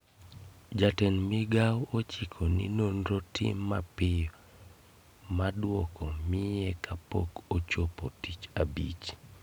Jatend migao ochiko ni nonro tim mapiyo ma duoko mie kapok ochopo tich abich